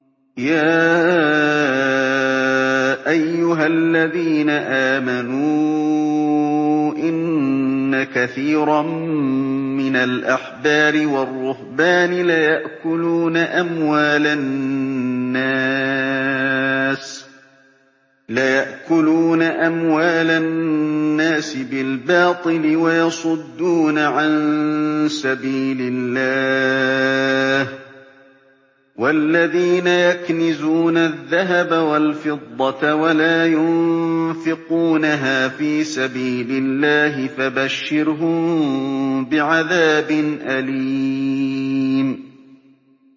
۞ يَا أَيُّهَا الَّذِينَ آمَنُوا إِنَّ كَثِيرًا مِّنَ الْأَحْبَارِ وَالرُّهْبَانِ لَيَأْكُلُونَ أَمْوَالَ النَّاسِ بِالْبَاطِلِ وَيَصُدُّونَ عَن سَبِيلِ اللَّهِ ۗ وَالَّذِينَ يَكْنِزُونَ الذَّهَبَ وَالْفِضَّةَ وَلَا يُنفِقُونَهَا فِي سَبِيلِ اللَّهِ فَبَشِّرْهُم بِعَذَابٍ أَلِيمٍ